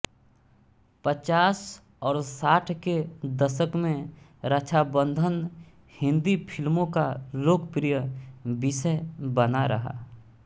पचास और साठ के दशक में रक्षाबन्धन हिंदी फ़िल्मों का लोकप्रिय विषय बना रहा